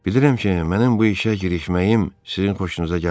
Bilirəm ki, mənim bu işə girişməyim sizin xoşunuza gəlmir.